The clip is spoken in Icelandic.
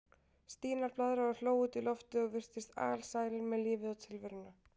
Stína blaðraði og hló út í loftið og virtist alsæl með lífið og tilveruna.